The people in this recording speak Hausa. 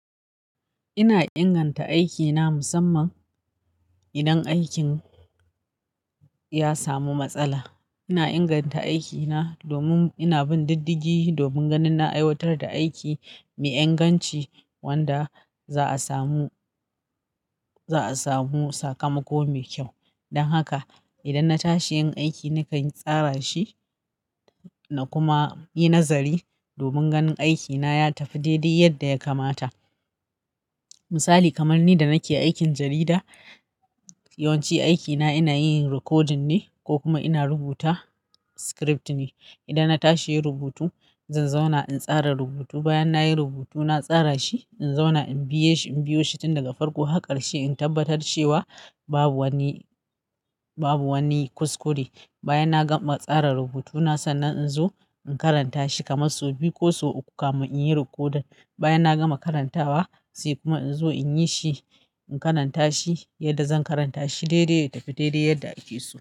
Ina inganta aikina musamman idan aikin ya samu matsala. Ina inganta aikina domin ina bin diddigi, domin ganin na aiwatar da aiki mai inganci wanda za a samu, za a samu sakamako mai kyau. Don haka idan na tashi yin aiki, nakan tsara shi na kuma yi nazari domin ganin aikina ya tafi daidai yadda ya kamata. Misali kamar ni da nake aikin jarida, yawanci aikina ina yin recording ne ko kuma ina rubuta script ne. Idan na tashi yin rubutu, zan zauna in tsara rubutu. Bayan nayi rubutu, na tsara shi, in zauna in biye shi, in biyo shi tun daga farko, haka ƙarshe in tabbatar cewa babu wani, babu wani kuskure. Bayan na gama tsara rubutuna, sanna inzo in karanta shi kamar sau biyu ko sau uku kamin inyi recording. Bayan na gama karantawa sai kuma inzo inyi shi, in karanta shi yadda zan karanta shi, daidai ya tafi daidai yadda ake so.